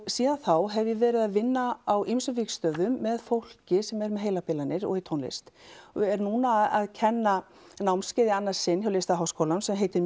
síðan þá hef ég verið að vinna á ýmsum vígstöðum með fólki sem er með heilabilanir og í tónlist og er núna að kenna námskeið í annað sinn hjá Listaháskólanum sem heitir